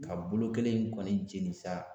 A bolo kelen in kɔni jeni sa